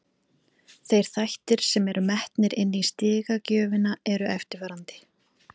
Þeir þættir sem eru metnir inni í stigagjöfina eru eftirfarandi: